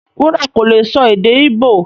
Wuraọla kò lè sọ èdè Ìbọ̀